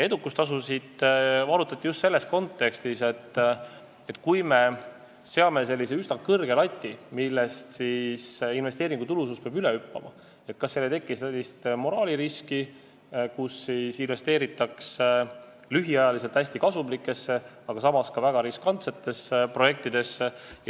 Edukustasusid arutati just selles kontekstis, et kui me seame sellise üsna kõrge lati, millest investeeringu tulusus peab üle hüppama, kas ei teki siis moraaliriski, et investeeritaks lühiajaliselt hästi kasumlikesse, aga samas väga riskantsetesse projektidesse.